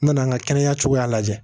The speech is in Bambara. N nana n ka kɛnɛya cogoya lajɛ